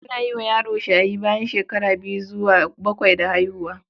Ana yi wa yaro shayi bayan shekara biyu zuwa bakwai da haihuwa.